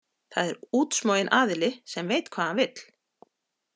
Það er útsmoginn aðili sem veit hvað hann vill.